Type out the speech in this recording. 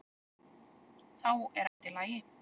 Þá er allt í lagi.